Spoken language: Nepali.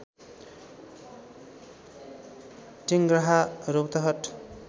टेङ्ग्राहा रौतहट